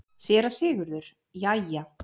SÉRA SIGURÐUR: Jæja!